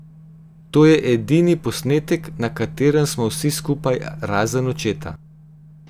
To je edini posnetek, na katerem smo vsi skupaj, razen očeta.